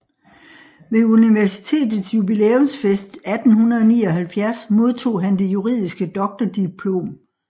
Ved universitetets jubilæumsfest 1879 modtog han det juridiske doktordiplom